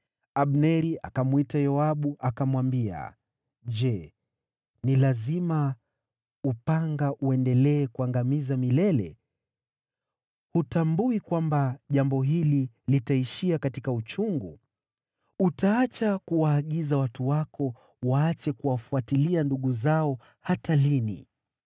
Abneri akamwita Yoabu, akamwambia, “Je, ni lazima upanga uendelee kuangamiza milele? Hutambui kwamba jambo hili litaishia katika uchungu? Utaacha kuwaagiza watu wako waache kuwafuatilia ndugu zao hata lini?”